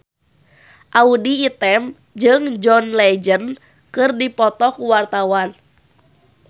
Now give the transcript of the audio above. Audy Item jeung John Legend keur dipoto ku wartawan